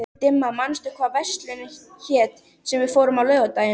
Dimma, manstu hvað verslunin hét sem við fórum í á laugardaginn?